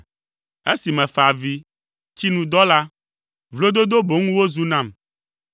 Esi mefa avi, tsi nu dɔ la, vlododo boŋ wozu nam;